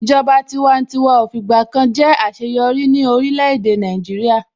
Ìjọba tiwantiwa ò fìgbà kan jẹ́ àṣeyọrí ní orílẹ̀-èdè Nàìjíríà.